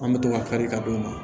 An bɛ to ka kari ka d'u ma